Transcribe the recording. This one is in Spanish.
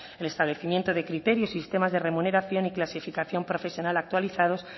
el establecimiento de criterios sistemas de remuneración y clasificación profesional actualizados